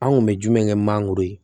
An kun bɛ jumɛn kɛ mangoro ye